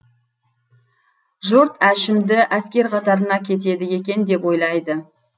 жұрт әшімді әскер қатарына кетеді екен деп ойлайды